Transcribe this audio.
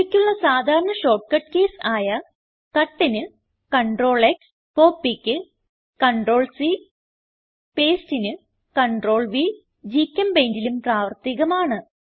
ഇവയ്ക്കുള്ള സാധാരണ short cut keys ആയ Cutന് CTRLX Copyക്ക് CTRLC പേസ്റ്റിന് CTRLV GChemPaintലും പ്രാവർത്തികമാണ്